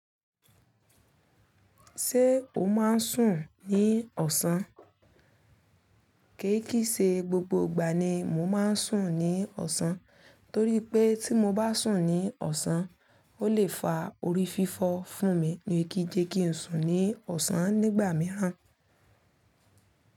Ṣé o máa ń sùn ní ọ̀sán? Kì í kì í ṣe gbogbo ìgbà ni mo máa ń sùn ní ọ̀sán, torí pé tí mo bá sùn ní ọ̀sán, ó lè fa orí fífọ́ fún mi ni kí jẹ́ kí n sùn ní ọ̀sán nígbà mìíràn.